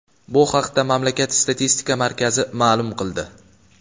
Bu haqda mamlakat statistika markazi ma’lum qildi .